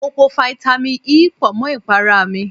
Mo po fáítámì E pọ̀ mọ́ ìpara mi.